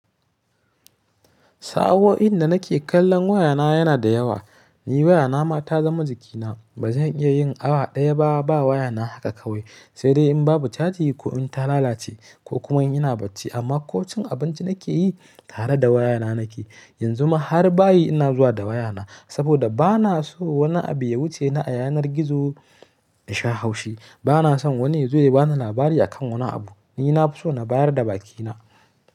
Sa'o'in da nake kallon wayana yana da yawa. Ni wayana ma ta zama jikina. Ba zan iya yin awa daya ba, ba wayana haka kawai, sai dai in babu caji ko in ta lalace ko kuma ina bacci. Amma ko cin abinci nake yi tare da wayana nake. Yanzu ma har bayi ina zuwa da wayana saboda ba na so wani abu ya wuce ni a yanar gizo in sha haushi. Ba na son wani ya zo ya bani labari a kan wani abu. Ni na fi so na bayar da bakina.